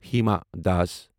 Hima Das